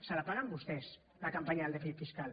se la paguen vostès la campanya del dèficit fiscal